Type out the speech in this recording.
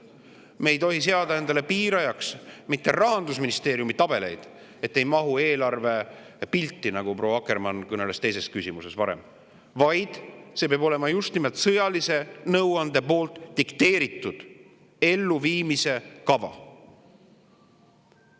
Me ei tohi seada endale piirajaks mitte Rahandusministeeriumi tabeleid, et see ei mahu eelarvepilti, nagu proua Akkermann kõneles teise küsimuse juures, vaid see peab olema just nimelt sõjalise nõuande dikteeritud elluviimise kava.